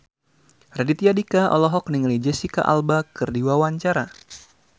Raditya Dika olohok ningali Jesicca Alba keur diwawancara